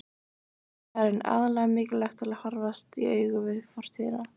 Karen: Aðallega mikilvægt til að horfast í augu við fortíðina?